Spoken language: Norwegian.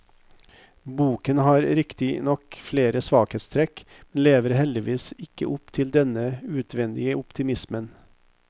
Boken har riktignok flere svakhetstrekk, men lever heldigvis ikke opp til denne utvendige optimismen.